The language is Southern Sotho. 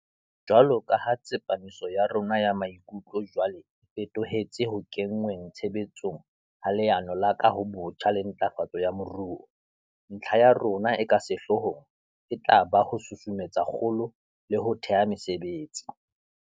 Jwaloka ha tsepamiso ya rona ya maikutlo jwale e feto hetse ho kenngweng tshebe tsong ha Leano la Kahobotjha le Ntlafatso ya Moruo, ntlha ya rona e ka sehloohong e tla ba ho susumetsa kgolo le ho thea mesebetsi.